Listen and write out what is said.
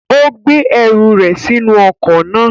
Ó gbé ẹrù rẹ̀ sínú ọkọ̀ náà.